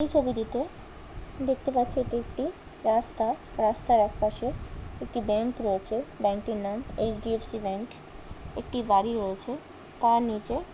এই ছবিটিতে দেখতে পাচ্ছি এটি একটি রাস্তা রাস্তার একপাশে একটি ব্যাংক রয়েছে ব্যাংক টির নাম এইচ.ডি.এফ.সি ব্যাংক একটি বাড়ি রয়েছে তার নিচে--